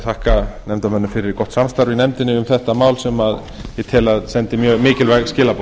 þakka nefndarmönnum fyrir gott samstarf í nefndinni um þetta mál sem ég tel að sendi mjög mikilvæg skilaboð